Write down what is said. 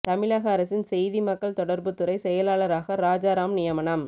தமிழக அரசின் செய்தி மக்கள் தொடர்புத் துறை செயலாளராக ராஜாராம் நியமனம்